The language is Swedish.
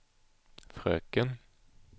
fröken